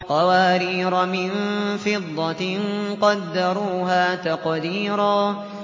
قَوَارِيرَ مِن فِضَّةٍ قَدَّرُوهَا تَقْدِيرًا